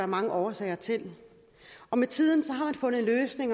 mange årsager til med tiden